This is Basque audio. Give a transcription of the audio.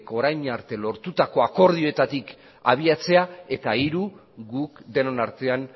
orain arte lortutako akordioetatik abiatzea eta hiru guk denon artean